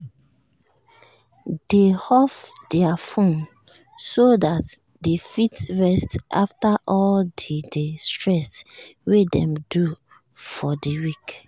dey off their fone so dat dey fit rest after all the the stress wey dem do for the week